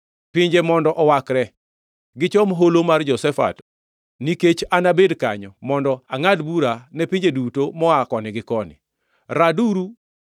“Pinje mondo owakre, gichom Holo mar Jehoshafat, nikech anabed kanyo mondo angʼad bura ne pinje duto moa koni gi koni.